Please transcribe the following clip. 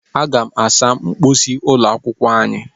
Aga m asa mposi ụlọ akwụkwọ anyị.